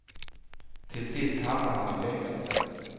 Till sist hamnar han i fängelse.